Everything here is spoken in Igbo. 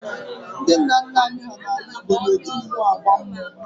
Ndị nna nna anyị hà n'ala Igbo na-eji mmụọ agba mmọnwụ